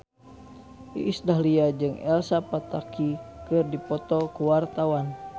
Iis Dahlia jeung Elsa Pataky keur dipoto ku wartawan